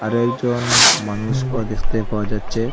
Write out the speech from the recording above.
আরও একজন মানুষও দেখতে পাওয়া যাচ্চে ।